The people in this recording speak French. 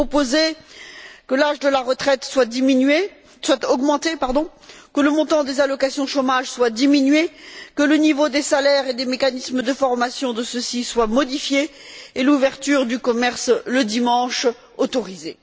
Vous proposez que l'âge de la retraite soit augmenté, que le montant des allocations de chômage soit diminué, que le niveau des salaires et des mécanismes de formation de ceux ci soit modifié, et l'ouverture des commerces, le dimanche, autorisée.